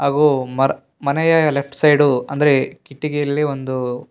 ಹಾಗೂ ಮರ್ ಮನೆಯ ಲೆಫ್ಟ್ ಸೈಡು ಅಂದ್ರೆ ಕಿಟಕಿಯಲ್ಲಿ ಒಂದು --